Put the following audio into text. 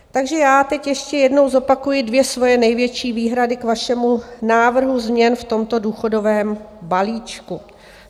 Takže já teď ještě jednou zopakuji dvě svoje největší výhrady k vašemu návrhu změn v tomto důchodovém balíčku.